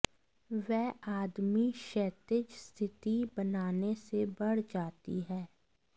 वह आदमी क्षैतिज स्थिति बनाने से बढ़ जाती है